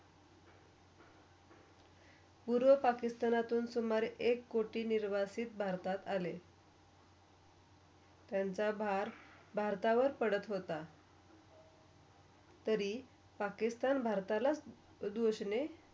पूर्व पाकिस्तानातून सुमारे एक कोठी निरवासी भारतात आले त्यांचा बाळ -भारतावर पडत होता तरी पाकिस्तान, भारताला दोषणे.